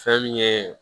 Fɛn min ye